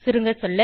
சுருங்கசொல்ல